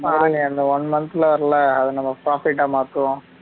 அந்த one month வரைல அத நம்ம profit ஆ மாத்துவோம்